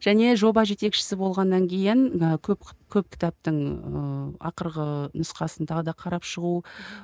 және жоба жетекшісі болғаннан кейін ы көп көп кітаптың ыыы ақырғы нұсқасын тағы да қарап шығу